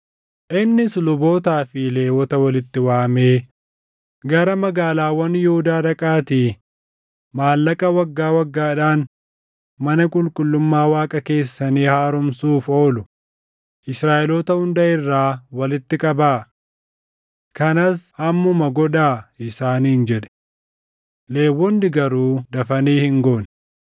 Innis lubootaa fi Lewwota walitti waamee, “Gara magaalaawwan Yihuudaa dhaqaatii maallaqa waggaa waggaadhaan mana qulqullummaa Waaqa keessanii haaromsuuf oolu Israaʼeloota hunda irraa walitti qabaa. Kanas ammuma godhaa” isaaniin jedhe. Lewwonni garuu dafanii hin goone.